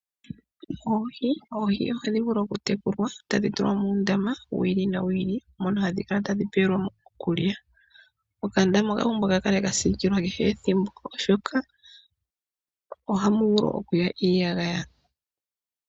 Oohi ohadhivulu okutekulwa tadhi tulwa muundama wi ili nowi ili mono hadhi kala tadhi pelwamo iikulya. Okandama okapumbwa okukala ka siikilwa oshoka ohamu vulu okuya iiyagaya.